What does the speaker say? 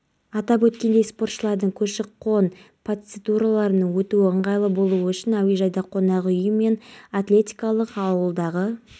екінші бабымен тағы да айыппұл салынады бұларға деді қоршаған ортаны қорғау және экология бөлімінің басшысы